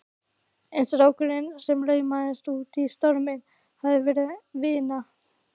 En strákurinn sem laumaðist út í storminn hafði verið vina